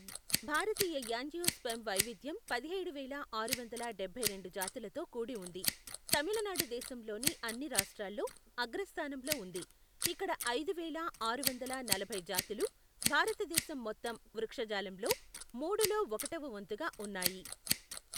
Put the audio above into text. భారతీయ angiosperm వైవిధ్యం పదిహేడు వేల ఆరు వందల డభై రెండు జాతులతో కూడి ఉంది, తమిళనాడు దేశంలోని అన్ని రాష్ట్రాల్లో అగ్రస్థానంలో ఉంది, ఇక్కడ ఐదువేల ఆరు వందల నలభై జాతులు భారతదేశం మొత్తం వృక్షజాలంలో మూడులో ఒకటవ వంతుగా ఉన్నాయి.